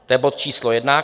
To je bod číslo jedna.